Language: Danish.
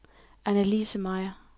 Annalise Meyer